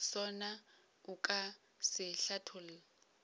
sona o ka se hlatholla